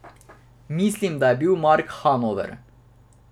Mislim, da je bil Mark Hanover.